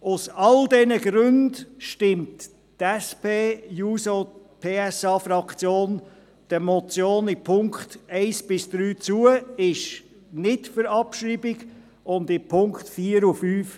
Aus all diesen Gründen stimmt die SP-JUSO-PSAFraktion der Motion in den Punkten 1 bis 3 zu und schreibt diese nicht ab.